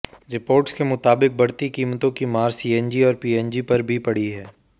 reports के मुताबिक़ बढ़ती कीमतों की मार सीएनजी और पीएनजी पर भी पड़ी है